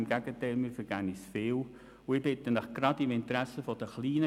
Im Gegenteil, wir vergeben uns viel.